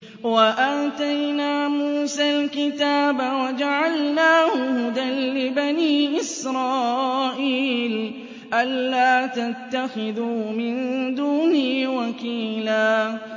وَآتَيْنَا مُوسَى الْكِتَابَ وَجَعَلْنَاهُ هُدًى لِّبَنِي إِسْرَائِيلَ أَلَّا تَتَّخِذُوا مِن دُونِي وَكِيلًا